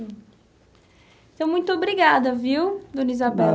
Então, muito obrigada, viu, Dona Isabel?